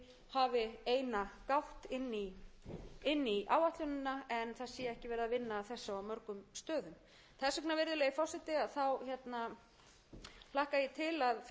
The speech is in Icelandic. hafi eina gátt inn í áætlunina en það sé ekki verið að vinna að þessu á mörgum stöðum þess vegna virðulegi forseti hlakka ég til að fylgjast með umræðunni hér um þessi